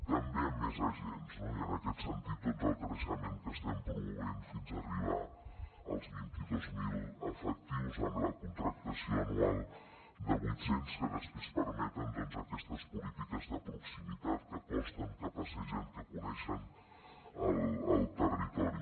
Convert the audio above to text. també amb més agents no i en aquest sentit doncs el creixement que estem promovent fins a arribar als vint dos mil efectius amb la contractació anual de vuit cents que després permeten doncs aquestes polítiques de proximitat que costen que passegen que coneixen el territori